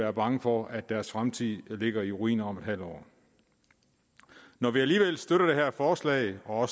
er bange for at deres fremtid ligger i ruiner om en halv år når vi alligevel støtter det her forslag og